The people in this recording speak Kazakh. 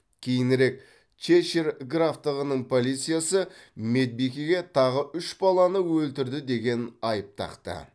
кейінірек чешир графтығының полициясы медбикеге тағы үш баланы өлтірді деген айып тақты